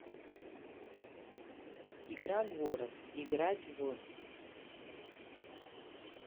игра город играть в